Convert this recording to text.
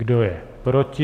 Kdo je proti?